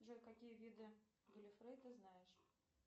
джой какие виды галефе ты знаешь